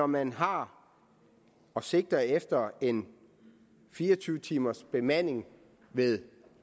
man har og sigter efter en fire og tyve timers bemanding ved